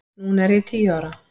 Núna er ég tíu ára.